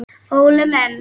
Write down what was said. Óli minn!